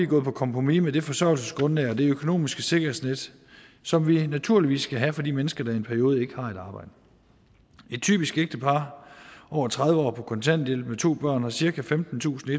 gået på kompromis med det forsørgelsesgrundlag og det økonomiske sikkerhedsnet som vi naturligvis skal have for de mennesker der i en periode ikke har et arbejde et typisk ægtepar over tredive år på kontanthjælp med to børn har cirka femtentusinde